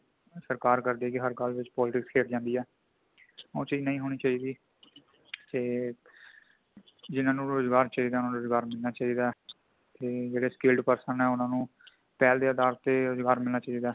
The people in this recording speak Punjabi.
ਜਿਵੇਂ ਸਰਕਾਰ ਕਰਦੀ ਹੈ ਹਰ ਗੱਲ ਵਿਚ politics ਖੇਲ ਜਾਂਦੀ ਹੈ, ਉਹ ਚੀਜ਼ ਨਹੀਂ ਹੋਣੀ ਚਾਹੀਦੀ ਤੇ ਜਿਨ੍ਹਾਂ ਨੂੰ ਰੋਜ਼ਗਾਰ ਚਾਹੀਦਾ ਹੈ ਉਨ੍ਹਾਂ ਨੂੰ ਰੋਜ਼ਗਾਰ ਮਿਲਣਾ ਚਾਹੀਦਾ ਹੈ |ਜਿਹੜੇ scale ਪੱਖ ਹੈ ਉਨ੍ਹਾਂ ਨੂੰ ਪਹਿਲ ਦੇ ਆਧਾਰ ਤੇ ਰੋਜ਼ਗਾਰ ਮਿਲਣਾ ਚਾਹੀਦਾ